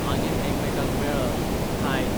मागीर एकामेकांक मेळत, खायत